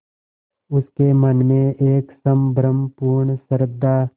उसके मन में एक संभ्रमपूर्ण श्रद्धा